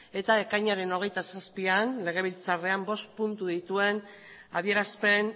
eta ekainaren hogeita zazpian legebiltzarrean bost puntu dituen adierazpen